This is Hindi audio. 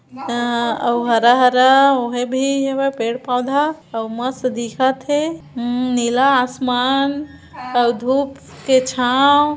अं आउ हरा-हरा ओहें भी एमा पेड़-पौधा अउ मस्त दिखत हे मम- नीला असमान अओ धुप के छाव--